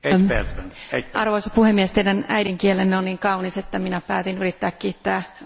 Arvoisa puhemies, teidän äidinkielenne on niin kaunis, että minä päätin yrittää kiittää unkariksi